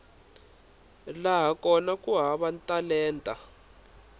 laha kona ku hava talenta